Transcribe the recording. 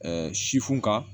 sifun ka